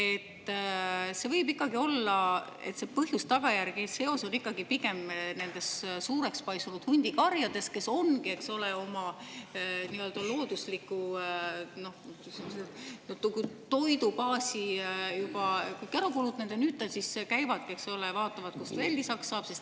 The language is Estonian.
Aga see võib olla ikkagi pigem põhjuse-tagajärje seos: suureks paisunud hundikarjad on oma loodusliku toidubaasi kõik juba ära ja siis käivad ja vaatavad, kust veel lisaks saab.